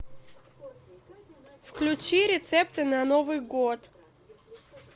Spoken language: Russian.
включи рецепты на новый год